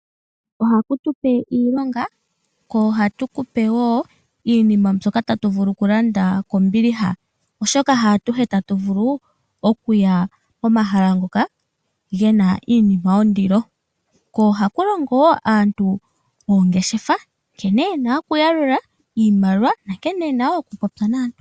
Ohatu kupe iilonga, ko ohatu kupe wo iinima mbyoka iinima mbyoka tatu vulu okulanda kombiliha. Oshoka haatuhe tatu vulu oku ya komahala ngoka ge na iinima yondilo, ko oha ku longo woo aantu oongeshefa nkene ye na oku yalula iimaliwa na nkene ye na wo oku popya naantu.